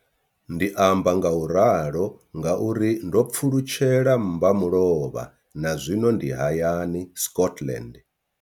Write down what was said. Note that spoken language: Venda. Ndi amba ngauralo nga uri ndo pfulutshela mmba mulovha na zwino ndi hayani, Scotland.